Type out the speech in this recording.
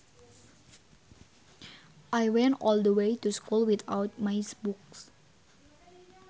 I went all the way to school without my books